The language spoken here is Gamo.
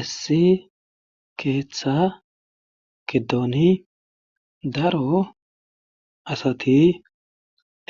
Issi keetha giddoni daro asati